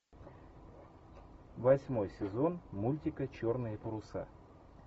восьмой сезон мультика черные паруса